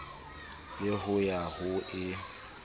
le ho ya ho e